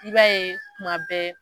I b'a ye tuma bɛɛ